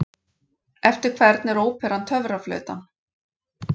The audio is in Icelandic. Eftir hvern er óperan Töfraflautan?